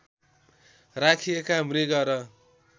राखिएका मृग र